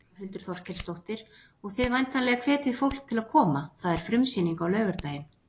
Þórhildur Þorkelsdóttir: Og þið væntanlega hvetjið fólk til koma, það er frumsýning á laugardaginn?